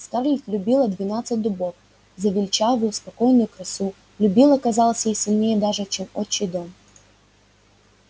скарлетт любила двенадцать дубов за величавую спокойную красу любила казалось ей сильнее даже чем отчий дом